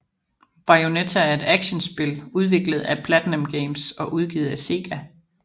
Bayonetta er et actionspil udviklet af PlatinumGames og udgivet af Sega